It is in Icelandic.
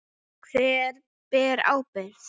Hver ber ábyrgð?